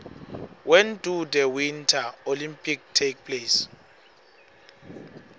when do the winter olympics take place